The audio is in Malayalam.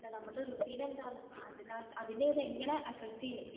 നമ്മളെ റൂട്ടിന് എങ്ങനെയാണ് അതിനെ അത് എങ്ങനെ എഫ്ഫക്റ്റ് ചെയ്യും